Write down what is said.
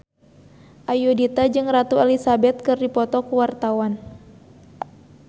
Ayudhita jeung Ratu Elizabeth keur dipoto ku wartawan